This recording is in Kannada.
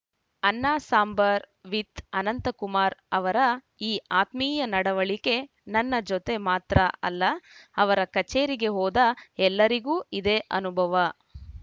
ಅನ್ನ ಸಾಂಬಾರ್‌ ವಿತ್‌ ಅನಂತ ಕುಮಾರ್‌ ಅವರ ಈ ಆತ್ಮೀಯ ನಡವಳಿಕೆ ನನ್ನ ಜೊತೆ ಮಾತ್ರ ಅಲ್ಲ ಅವರ ಕಚೇರಿಗೆ ಹೋದ ಎಲ್ಲರಿಗೂ ಇದೇ ಅನುಭವ